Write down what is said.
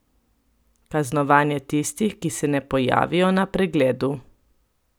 Kaznovanje tistih, ki se ne pojavijo na pregledu?